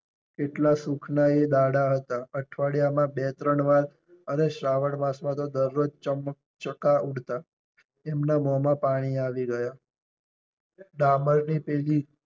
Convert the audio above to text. કેટલા સુખ ના એ દહાડા હતા. અઠવાડિયામાં બે ત્રણ વાર અરે શ્રાવણ માસ માં તો દરરોજ ચમ ચકા ઉડતા એમના મોંમા પાણી આવું ગયા ડામર ની